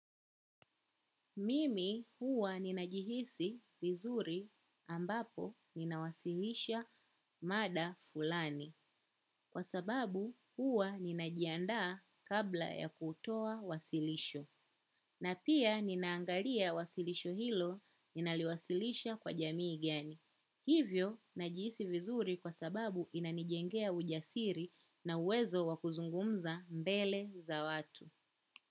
Mimi huwa ninajihisi vizuri ambapo ninawasilisha mada fulani sababu huwa ninajiandaa kabla ya kutoa wasilisho na pia ninaangalia wasilisho hilo ninaliwasilisha kwa jamii gani hivyo ninajihisi vizuri kwa sababu inanijengea ujasiri na uwezo wa kuzungumza mbele za watu.